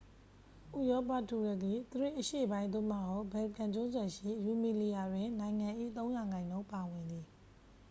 ဥရောပ တူရကီ သရေ့ အရှေ့ပိုင်း သို့မဟုတ် ဘယ်လ်ကန် ကျွန်းဆွယ်ရှိ ရူမီလီယာ တွင် နိုင်ငံ၏ ၃% ပါဝင်သည်။